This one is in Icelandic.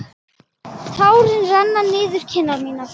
Tárin renna niður kinnar mínar.